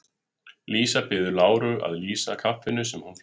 Lísa biður Láru að lýsa kaffinu sem hún fékk.